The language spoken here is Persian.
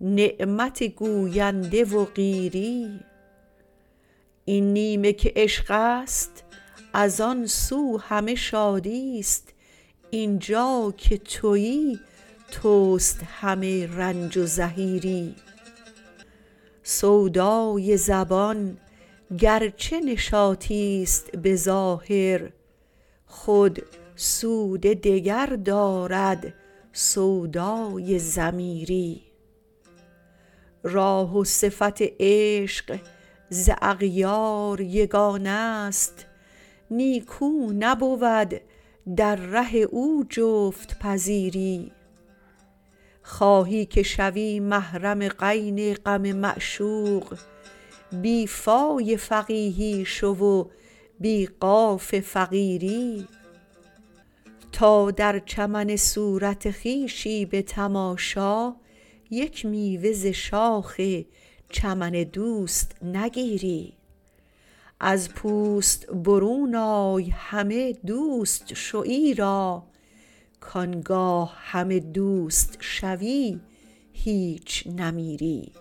نعمت گوینده و قیری این نیمه که عشقست از آن سو همه شادیست اینجا که تویی تست همه رنج و زحیری سودای زبان گرچه نشاطیست به ظاهر خود سود دگر دارد سودای ضمیری راه و صفت عشق ز اغیار یگانه ست نیکو نبود در ره او جفت پذیری خواهی که شوی محرم غین غم معشوق بی فای فقیهی شو و بی قاف فقیری تا در چمن صورت خویشی به تماشا یک میوه ز شاخ چمن دوست نگیری از پوست برون آی همه دوست شو ایرا کانگاه همه دوست شوی هیچ نمیری